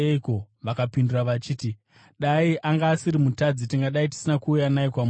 Vakapindura vachiti, “Dai anga asiri mutadzi, tingadai tisina kuuya naye kwamuri.”